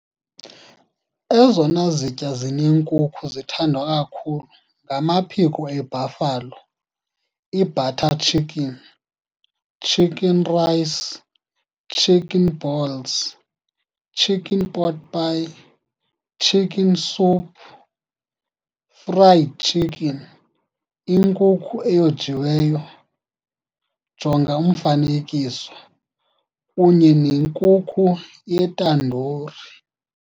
Ezona zitya zinenkukhu nezithandwa kakhulu ngamaphiko eBuffalo, ibutter chicken, chicken rice, chicken balls, chicken pot pie, chicken soup, fried chicken, inkukhu eyojiweyo, jonga umfanekiso, kunye nenkukhu yetandoori.